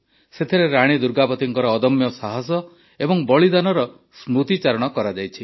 ସେଥିରେ ରାଣୀ ଦୁର୍ଗାବତୀଙ୍କ ଅଦମ୍ୟ ସାହସ ଏବଂ ବଳିଦାନର ସ୍ମୃତିଚାରଣ କରାଯାଇଛି